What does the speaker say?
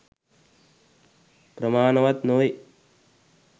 ප්‍රමාණවත් නොවේ.